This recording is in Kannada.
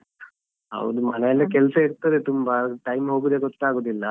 ಹೌದು ಮನೆಯಲ್ಲಿ ಕೆಲ್ಸ ಇರ್ತದೆ ತುಂಬ time ಹೋಗುದೇ ಗೊತ್ತಾಗುದಿಲ್ಲಾ.